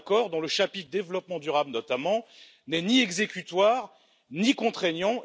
C'est un accord dont le chapitre développement durable, notamment, n'est ni exécutoire, ni contraignant.